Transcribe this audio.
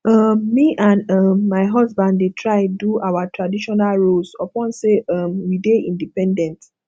um me and um my husband dey try do our traditional roles upon sey um we dey independent